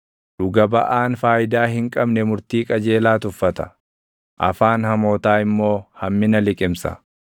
Dhuga baʼaan faayidaa hin qabne murtii qajeelaa tuffata; afaan hamootaa immoo hammina liqimsa.